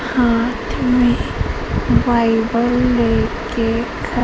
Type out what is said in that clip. हाथ में बाईबल लेके खड़ा--